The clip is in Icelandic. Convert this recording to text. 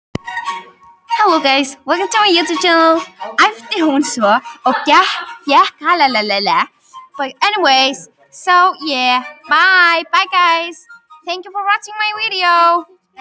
æpti hún svo hann fékk hálfgerða hellu fyrir eyrun.